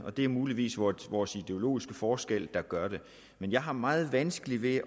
det er muligvis vores vores ideologiske forskelle der gør det men jeg har meget vanskeligt ved